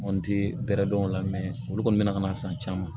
Mɔnti bɛrɛ don o la olu kɔni bɛ na ka na san caman